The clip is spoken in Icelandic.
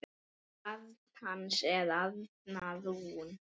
Barn hans er Arna Rún.